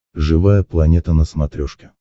живая планета на смотрешке